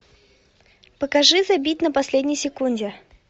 покажи забить на последней секунде